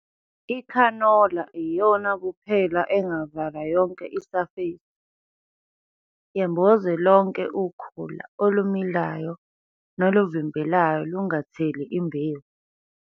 Ikhanola iyona kuphela engavala yonke isafesi, yemboze lonke ukhula olumilayo neluvimbelayo lungatheli imbewu.